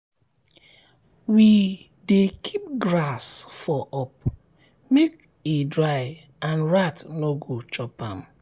we dey keep grass for up make e dry and rat no go chop am.